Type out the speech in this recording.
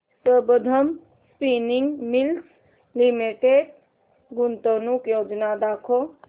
Sambandam spinning mills limited गुंतवणूक योजना दाखव